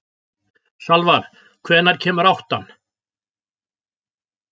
Salvar, hvenær kemur áttan?